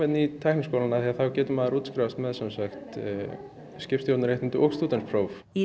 í Tækniskólann því þá getur maður útskrifast með skipstjórnarréttindi og með stúdentspróf í